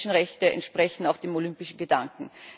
Menschenrechte entsprechen auch dem olympischen Gedanken.